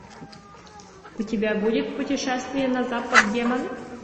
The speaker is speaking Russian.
у тебя будет путешествие на запад демоны